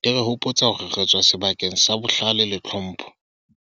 Di re hopotsa hore re tswa sebakeng sa bohlale le tlhompho.